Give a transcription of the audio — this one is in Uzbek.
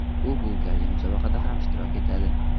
U bu galgi musobaqada ham ishtirok etadi.